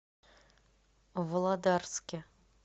володарске